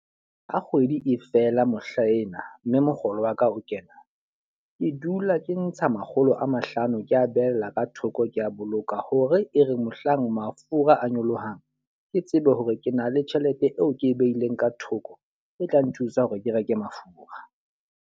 Ha kgwedi e fela mohlaena, mme mokgolo wa ka o kena. Ke dula ke ntsha makgolo a mahlano ke a behella ka thoko ke a boloka. Hore e re mohlang mafura a nyolohang, ke tsebe hore ke na le tjhelete eo ke e behileng ka thoko e tla nthusa hore ke reke mafura.